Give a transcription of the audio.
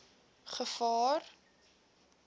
gevaar